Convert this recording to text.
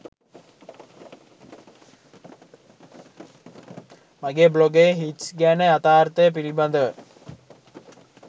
මගේ බ්ලොගයේ හිට්ස් ගැන යතාර්ථය පිළිබඳව